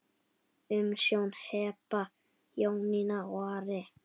Umsjón Heba, Jónína og Ari.